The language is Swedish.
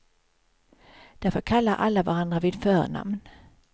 Därför kallar alla varandra vid förnamn.